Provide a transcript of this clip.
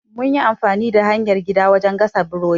Mun yi amfani da hanyar gida wajen gasa burodi.